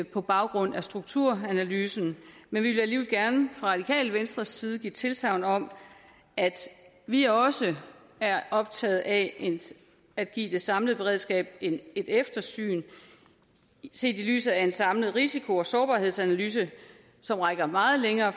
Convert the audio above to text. på baggrund af strukturanalysen men vi vil alligevel gerne fra radikale venstres side give tilsagn om at vi også er optaget af at give det samlede beredskab et eftersyn set i lyset af en samlet risiko og sårbarhedsanalyse som rækker meget længere